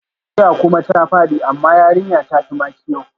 Duniya kuma ta fadi, amma yarinya ta fi makiyo